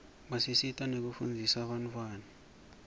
basisita nekufundzisa bantfwana